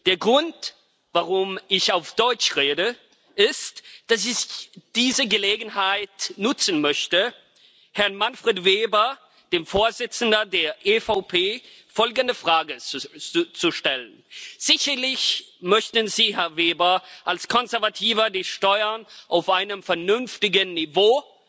Der Grund, warum ich Deutsch rede, ist, dass ich diese Gelegenheit nutzen möchte, Herrn Manfred Weber, dem Vorsitzenden der EVP Fraktion, folgende Frage zu stellen Sicherlich möchten Sie, Herr Weber, als Konservativer die Steuern auf einem vernünftigen Niveau